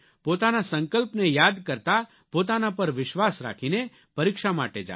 પોતાના સંકલ્પને યાદ કરતા પોતાના પર વિશ્વાસ રાખીને પરીક્ષા માટે જાવ